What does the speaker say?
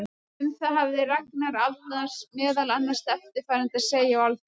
Um það hafði Ragnar Arnalds meðal annars eftirfarandi að segja á Alþingi